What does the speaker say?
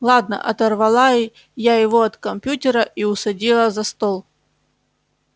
ладно оторвала я его от компьютера и усадила за стол